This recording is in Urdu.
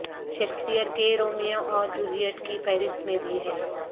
شیکسپیر کے رومیو اور جولیٹ کی فہرست میں بھی ہے